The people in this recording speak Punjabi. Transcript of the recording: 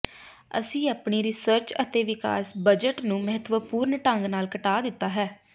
ਅਸੀਂ ਆਪਣੀ ਰਿਸਰਚ ਅਤੇ ਵਿਕਾਸ ਬਜਟ ਨੂੰ ਮਹੱਤਵਪੂਰਨ ਢੰਗ ਨਾਲ ਘਟਾ ਦਿੱਤਾ ਹੈ